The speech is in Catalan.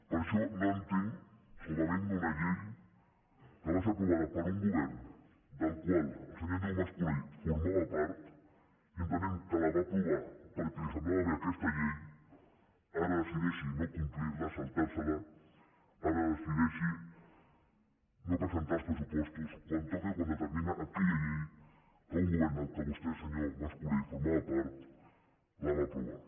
per això no entenc com havent hi una llei que va ser aprovada per un govern del qual el senyor andreu mas colell formava part i entenent que la va aprovar perquè li semblava bé aquesta llei ara decideixi no complir la saltar se la ara decideixi no presentar els pressupostos quan toca i quan determina aquella llei que un govern de què vostè senyor mas colell formava part va aprovar